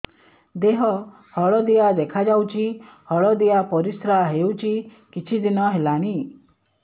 ଦେହ ହଳଦିଆ ଦେଖାଯାଉଛି ହଳଦିଆ ପରିଶ୍ରା ହେଉଛି କିଛିଦିନ ହେଲାଣି